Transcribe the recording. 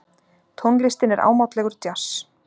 Tónlistin er ámátlegur djass.